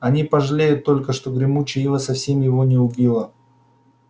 они пожалеют только что гремучая ива совсем его не убила